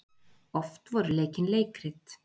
Oft voru leikin leikrit.